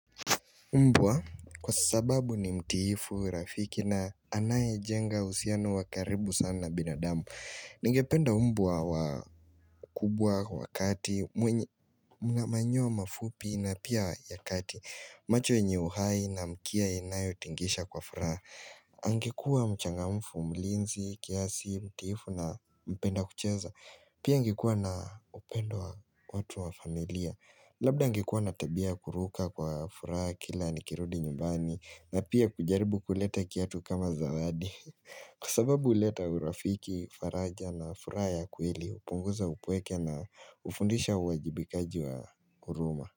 Mbwa kwa sababu ni mtiifu, rafiki na anaye jenga uhusiano wakaribu sana binadamu. Ningependa mbwa wakubwa, wakati, mna manyoa mafupi na pia ya kati. Macho yenye uhai na mkia inayotingisha kwa furaha. Angekuwa mchangamfu, mlinzi, kiasi, mtiifu na mpenda kucheza. Pia angekuwa na upendo wa watu wa familia. Labda angekuwa na tabia kuruka kwa furaha kila nikirudi nyumbani na pia kujaribu kuleta kiatu kama zawadi Kwa sababu uleta urafiki, faraja na furaha ya kweli upunguza upweke na ufundisha uwajibikaji wa huruma.